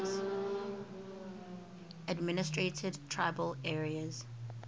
administered tribal areas